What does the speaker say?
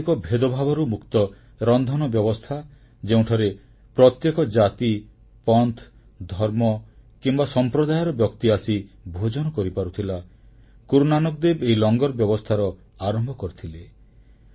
ସାମାଜିକ ଭେଦଭାବରୁ ମୁକ୍ତ ରନ୍ଧନ ବ୍ୟବସ୍ଥା ଯେଉଁଠାରେ ପ୍ରତ୍ୟେକ ଜାତି ପନ୍ଥ ଧର୍ମ କିମ୍ବା ସମ୍ପ୍ରଦାୟର ବ୍ୟକ୍ତି ଆସି ଭୋଜନ କରିପାରୁଥିଲା ଗୁରୁ ନାନକଦେବ ଏହି ଲଙ୍ଗର ବ୍ୟବସ୍ଥାର ଆରମ୍ଭ କରିଥିଲେ